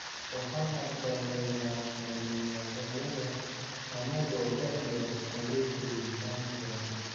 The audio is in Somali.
Waxaan aqbalnay naafanimadayada annagoo da 'yar, ayay tiri Sanchia.